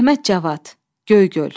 Əhməd Cavad, Göygöl.